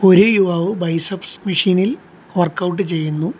ഒരു യുവാവ് ബൈസെപ്സ് മെഷീനിൽ വർക്ഔട്ട് ചെയ്യുന്നു.